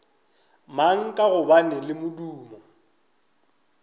mang ka gobane le modumo